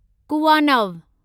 कुवानव